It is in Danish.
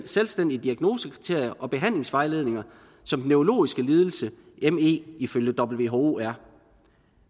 selvstændige diagnosekriterier og behandlingsvejledninger som den neurologiske lidelse me ifølge who er